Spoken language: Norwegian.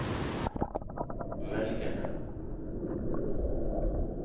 velgerne